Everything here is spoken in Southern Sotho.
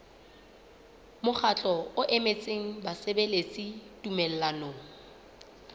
mokgatlo o emetseng basebeletsi tumellanong